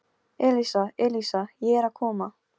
Elísa, Elísa, ég er að koma